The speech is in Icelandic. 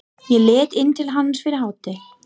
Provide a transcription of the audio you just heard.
Ég leit inn til hans fyrir hádegi.